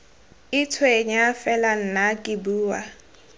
itshwenya fela nna ke bua